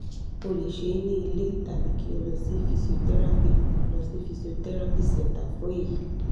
o le se e ni ile tabi ki o lo si physiotherapy lo si physiotherapy centre fun eyi